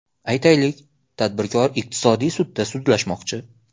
Aytaylik, tadbirkor iqtisodiy sudda sudlashmoqchi.